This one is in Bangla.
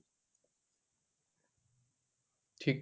ঠিক.